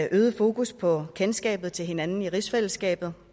øget fokus på kendskabet til hinanden i rigsfællesskabet